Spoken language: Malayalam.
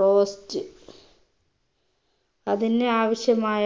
roast അതിന് ആവശ്യമായ